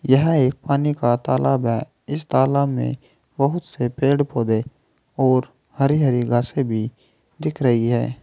यह एक पानी का तालाब है इस तालाब में बहुत से पेड़ पौधे और हरी हरी घासें भी दिख रही है।